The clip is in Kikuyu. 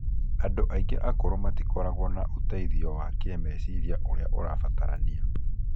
Andũ aingĩ akũrũ matikoragwo na ũteithio wa kĩĩmeciria ũrĩa ũrabatarania.